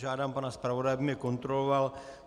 Žádám pana zpravodaje, aby mě kontroloval.